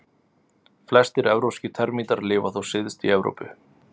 Flestir evrópskir termítar lifa þó syðst í Evrópu.